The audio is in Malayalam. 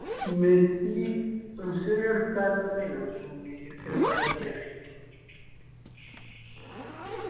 മെസ്സി മെസ്സി നല്ല കളിക്കാരനെന്നെയാണ് അത് അംഗീകരിച്ച ഒരു player എന്നെയാണ്.